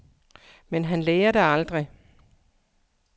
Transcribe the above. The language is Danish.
Men han lærer det aldrig.